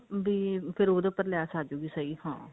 ਭੀ ਉਹਦੇ ਉੱਪਰ ਲੈਸ ਆਜੁਗੀ ਸਹੀ ਹਾਂ